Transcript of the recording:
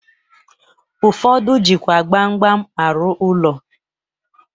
Ụfọdụ jikwa gbam gbam arụ ụlọ.